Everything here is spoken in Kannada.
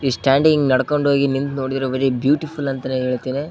ಈ ಸ್ಟ್ಯಾಂಡಿಂಗ್ ನಡ್ಕೊಂಡ್ ಹೋಗಿ ನಿಮ್ ನೋಡಿರೋ ಮನೆ ಬ್ಯೂಟಿಫುಲ್ ಅಂತಾನೆ ಹೇಳತಾನೆ --